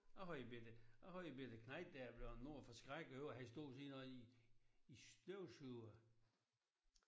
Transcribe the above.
Jeg har en bette jeg har en bette knejt der er blevet noget forskrækket over han står ved siden af en en støvsuger